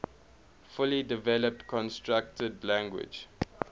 fully developed constructed language